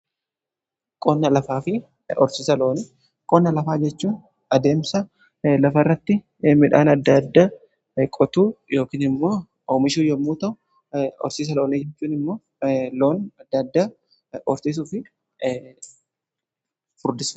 qonna lafaafi horsiisa loonii, qonna lafaa jechuun adeemsa lafa rratti midhaan addaadda qotuu yookn immoo oomishuu yommuu ta'u horsiisa loon jechuun immoo loon addaaddaa horsiisuuf furdisu.